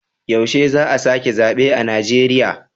Yaushe za a sake zabe a Najeriya.